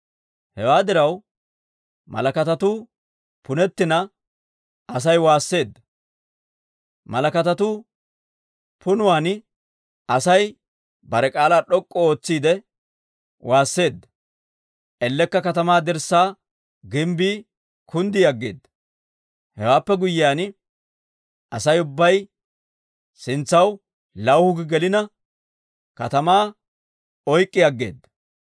Hewaa diraw malakatatuu punettina Asay waasseedda. Malakatatu punuwaan Asay bare k'aalaa d'ok'k'u ootsiide waasseedda; ellekka katamaa dirssaa gimbbii kunddi aggeeda! Hewaappe guyyiyaan Asay ubbay sintsaw lawuhu gi gelinne katamaa oyk'k'i aggeeda.